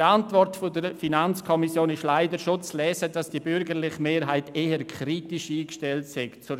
In der Antwort der FiKo ist leider bereits zu lesen, dass die bürgerliche Mehrheit der